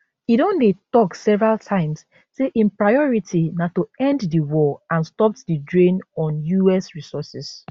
e don dey tok several times say im priority na to end di war and stop di drain on us resources